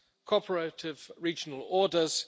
cooperative regional orders